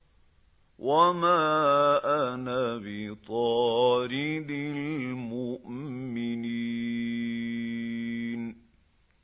وَمَا أَنَا بِطَارِدِ الْمُؤْمِنِينَ